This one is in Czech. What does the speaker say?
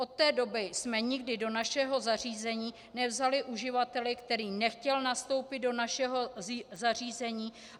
Od té doby jsme nikdy do našeho zařízení nevzali uživatele, který nechtěl nastoupit do našeho zařízení.